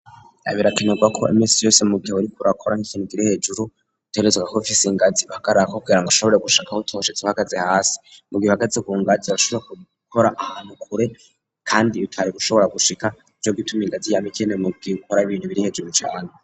birakenerwa ko iminsi yose mu gihe uriko urakora kukintu kiri hejuru utegerezwa gakof ingazi bahagararagako kugirango ashobore gushika aho utoshitse uhagazi hasi mu gihe uhagaze kungazi urashobore gukora ahantu kure kandi itari gushobora gushika nico gituma ingazi yama ikenewe mu gihe ukora ibintu biri hejuru cane.